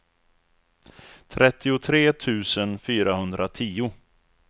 trettiotre tusen fyrahundratio